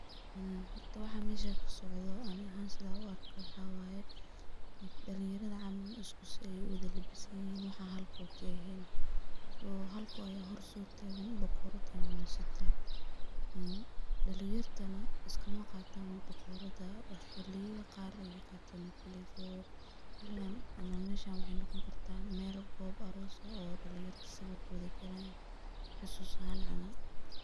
Horta waxan meshan kasocdho ani ahan sida an uarko waxa waye, dalinyarada camal isku si ay uwada labisten, waxa halko kaehen, oo halko hor sotagan , bakorad ayuu sitaa , een dalinyarta iskmaqatan bakorada, xiliyada qar ay qatan, so xiligan ama meshan waxay noqon kartah mel gob aross oo dalinyarta sawir kuwada galayan xusus ahan camal.